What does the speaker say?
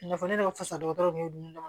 Nafa ne ka fisa dɔgɔtɔrɔw tun y'o dun dɔrɔn